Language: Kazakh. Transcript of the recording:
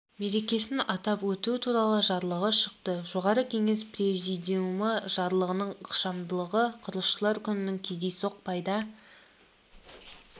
мерекесін атап өту туралы жарлығы шықты жоғарғы кеңес президиумы жарлығының ықшамдылығы құрылысшылар күнінің кездейсоқ пайда